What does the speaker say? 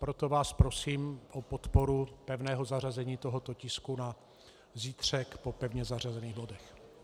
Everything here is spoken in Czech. Proto vás prosím o podporu pevného zařazení tohoto tisku na zítřek po pevně zařazených bodech.